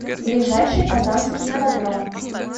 ближайший казанский ипподром